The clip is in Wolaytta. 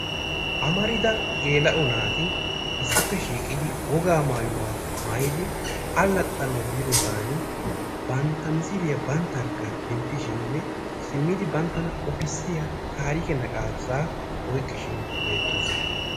Amarida gela"o naati issippe shiiqidi woga maayyuwa maayyidi alaxxanaw biidoosan, bantta misiliyaa banttarkka dentishinne simmidi banttana qopissiya tarikke naqashsha oyqqishin beerroosona.